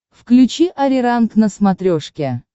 включи ариранг на смотрешке